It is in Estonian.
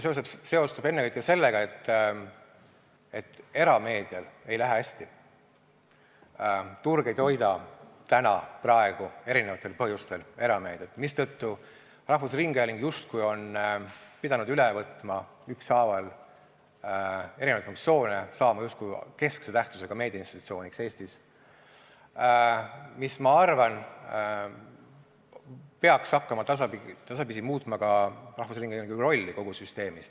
See seostub ennekõike sellega, et erameedial ei lähe hästi, turg ei toida praegu eri põhjustel erameediat, mistõttu rahvusringhääling justkui on pidanud üle võtma ükshaaval erinevaid funktsioone, saama justkui keskse tähtsusega meediainstitutsiooniks Eestis, mis minu arvates peaks hakkama tasapisi muutma ka rahvusringhäälingu rolli kogu süsteemis.